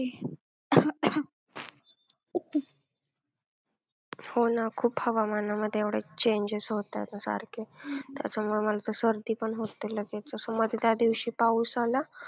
हो ना खूप हवामानामध्ये एवढं changes होतात सारखे. त्याचवेळी मला तर सर्दी पण होते लगेच. असं मध्ये त्यादिवशी पाऊस आला.